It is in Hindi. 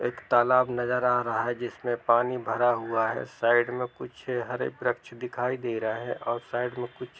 एक तालाब नजर आ रहा है जिसमे पानी भरा हुआ है साइड में कुछ हरे वृक्ष दिखाई दे रहे है। और साइड मे कुछ--